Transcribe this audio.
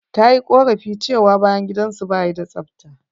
Ta yi ƙorafi cewa bayan gidan su ba ya da tsafta.